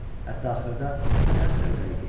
Hətta axırda nədənsə ürəyi getdi.